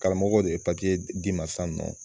Karamɔgɔ de ye d'i ma san nɔ